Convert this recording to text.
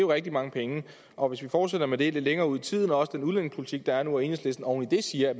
rigtig mange penge og hvis vi fortsætter med det lidt længere ud i tiden og også den udlændingepolitik der er nu og enhedslisten oven i det siger at